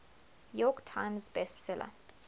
york times bestseller